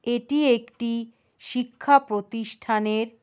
এটি একটি ই শিক্ষা প্রতিষ্ঠানের--